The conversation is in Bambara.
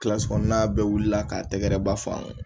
Kilasi kɔnɔn n'a bɛɛ wulila k'a tɛgɛɛrɛ ba fɔ an ye